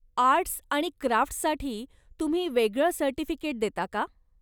Arts आणि क्राफ्ट्ससाठी तुम्ही वेगळ सर्टिफिकेट देता का?